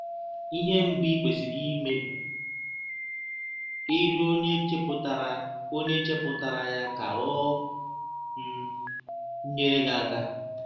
Ihe mbụ i kwesịrị ime bụ ịrịọ Ọnye chepụtara Ọnye chepụtara ya ka ọ um nyere gị aka.